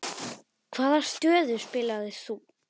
Hvaða stöðu spilaðir þú?